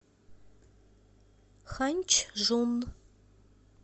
ханьчжун